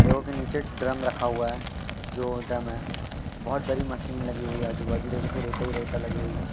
देखो के नीचे ड्रम रखा हुआ है जो ड्रम है बहोत बड़ी मशीन लगी हुई है आजू बाजू देखो कि रेता ही रेता लगी हुई है।